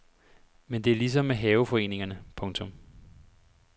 Men det er ligesom med haveforeningerne. punktum